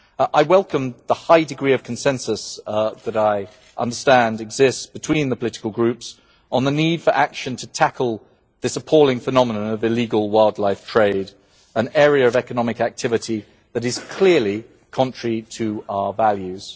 I welcome the high degree of consensus that I understand exists between the political groups on the need for action to tackle this appalling phenomenon of illegal wildlife trade, an area of economic activity that is clearly contrary to our values.